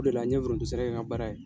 O de la n ye foronto sɛnɛ kɛ n ka baara ye.